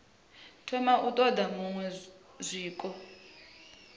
thoma u ṱoḓa zwiṅwe zwiko